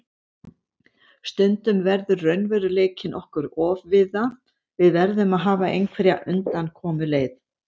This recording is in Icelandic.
Stundum verður raunveruleikinn okkur ofviða, við verðum að hafa einhverja undankomuleið.